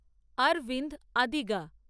Aravind Adiga